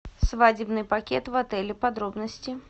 свадебный пакет в отеле подробности